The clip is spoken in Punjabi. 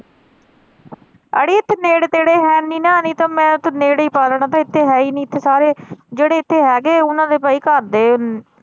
ਇਥੇ ਨੇੜੇ ਤੇੜੇ ਹੈ ਨਹੀਂ ਨਾ ਨਹੀਂ ਤੇ ਮੈਂ ਨੇੜੇ ਈ ਪਾ ਲੈਣਾ ਇਥੇ ਹੈ ਈ ਨਹੀਂ ਇਥੇ ਸਾਰੇ ਜਿਹੜੇ ਇਥੇ ਹੈਗੇ ਓਹਨਾ ਦੇ ਬਈ ਘਰ ਦੇ।